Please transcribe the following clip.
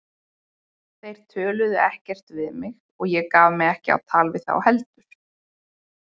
Þeir töluðu ekkert við mig og ég gaf mig ekki á tal við þá heldur.